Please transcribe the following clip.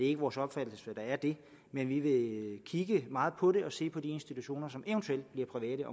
ikke vores opfattelse at der er det men vi vil kigge meget på det og se på de institutioner som eventuelt bliver private